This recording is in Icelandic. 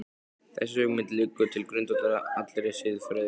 Þessi hugmynd liggur til grundvallar allri siðfræði.